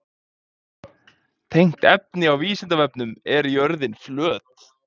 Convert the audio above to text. Tengt efni á Vísindavefnum: Er jörðin flöt?